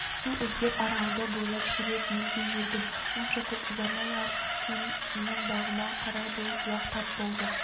су іздеп аралды бойлап ширек мильдей жүрдім онша көп ұзамай-ақ менің бағыма қарай бір бұлақ тап болды